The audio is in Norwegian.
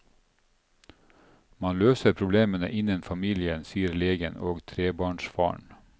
Man løser problemene innen familien, sier legen og trebarnsfaren.